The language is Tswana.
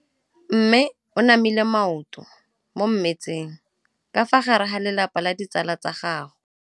Mme o namile maoto mo mmetseng ka fa gare ga lelapa le ditsala tsa gagwe.